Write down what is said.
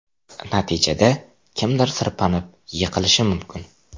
Natijada kimdir sirpanib, yiqilishi mumkin.